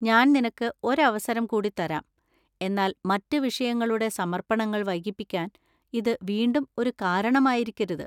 ഞാൻ നിനക്ക് ഒരവസരം കൂടി തരാം, എന്നാൽ മറ്റ് വിഷയങ്ങളുടെ സമർപ്പണങ്ങൾ വൈകിപ്പിക്കാൻ ഇത് വീണ്ടും ഒരു കാരണമായിരിക്കരുത്.